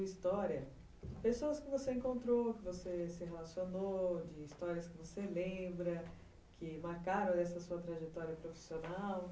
história. Pessoas que você encontrou, que você se relacionou, histórias que você lembra, que marcaram essa sua trajetória profissional?